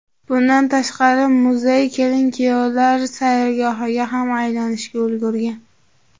Bundan tashqari, muzey kelin-kuyovlar sayrgohiga ham aylanishga ulgurgan.